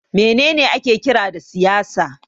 Me ne ne ake kira da siyasa?